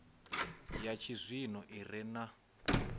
ya tshizwino i re na